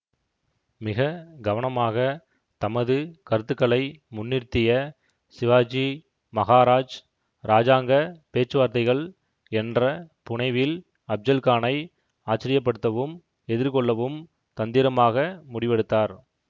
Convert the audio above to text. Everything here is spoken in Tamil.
மிக கவனமாக தமது கருத்துக்களை முன்னிறுத்திய சிவாஜி மகாராஜ் இராஜாங்க பேச்சுவார்த்தைகள் என்ற புனைவில் அப்ஜல்கானை ஆச்சரியப்படுத்தவும் எதிர்கொள்ளவும் தந்திரமாக முடிவெடுத்தார்